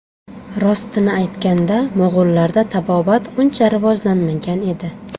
Rostini aytganda, mo‘g‘ullarda tabobat uncha rivojlanmagan edi.